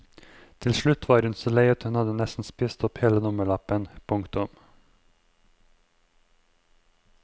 Til slutt var hun så lei at hun nesten hadde spist opp hele nummerlappen. punktum